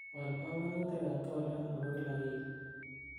wal pongonutik at twolyot nebo kila wigi